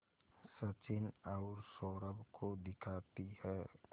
सचिन और सौरभ को दिखाती है